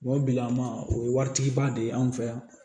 o bilama o ye waritigi ba de ye an fɛ yan